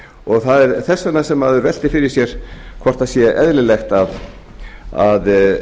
og það er þess vegna sem maður veltir fyrir sér hvort það sé eðlilegt að